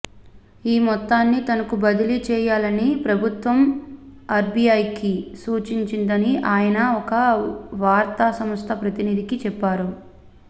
ఈ మొత్తాన్ని తనకు బదిలీ చేయాలని ప్రభుత్వం ఆర్బీఐకి సూచించిందని ఆయన ఒక వార్తాసంస్థ ప్రతినిధికి చెప్పారు